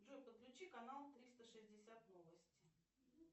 джой подключи канал триста шестьдесят новости